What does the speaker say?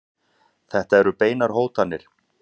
Þetta eru beinar hótanir.